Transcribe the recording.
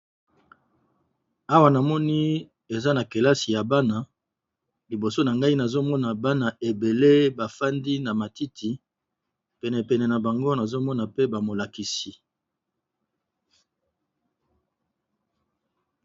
Awa ñamoni eza na kelasi ya Bana Main na mini bafadisi Bango na matiti libosa na Bango esa bakisi